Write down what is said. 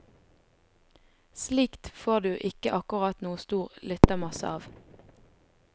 Slikt får du ikke akkurat noen stor lyttermasse av.